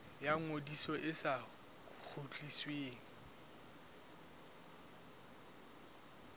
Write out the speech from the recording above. ya ngodiso e sa kgutlisweng